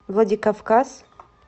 владикавказ